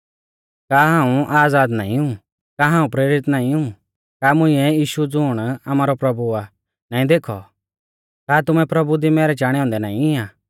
का हाऊं आज़ाद नाईं ऊ का हाऊं प्रेरित नाईं ऊ का मुंइऐ यीशु ज़ुण आमारौ प्रभु आ नाईं देखौ का तुमै प्रभु दी मैरै चाणै औन्दै नाईं आ